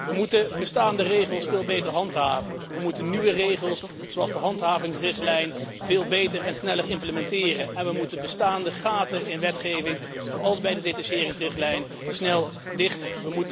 We moeten bestaande regels veel beter handhaven. We moeten nieuwe regels, zoals de handhavingsrichtlijn, veel beter en sneller implementeren. We moeten bestaande lacunes in de wetgeving, zoals bij de detacheringsrichtlijn, snel dichten.